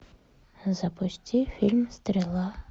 запусти фильм стрела